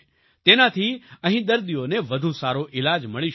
તેનાથી અહીં દર્દીઓને વધુ સારો ઈલાજ મળી શકશે